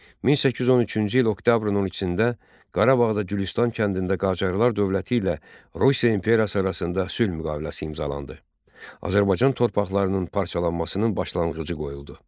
1813-cü il oktyabrın 12-də Qarabağda Gülüstan kəndində Qacarlar dövləti ilə Rusiya imperiyası arasında sülh müqaviləsi imzalandı, Azərbaycan torpaqlarının parçalanmasının başlanğıcı qoyuldu.